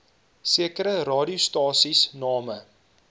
sekere radiostasies name